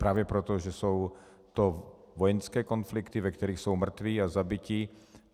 Právě proto, že jsou to vojenské konflikty, ve kterých jsou mrtví a zabití.